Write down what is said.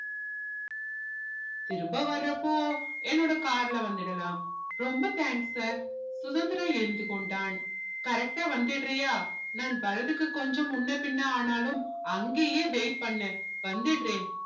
திரும்ப வர்றப்போ என்னோட car ல வந்திடலாம் ரொம்ப thanks sir சுதந்திரா எழுந்து கொண்டான் correct டா வந்திடுறியா நான் வரதுக்கு கொஞ்சம் முன்னபின்ன ஆனாலும் அங்கயே wait பண்ணு வந்திடுறேன்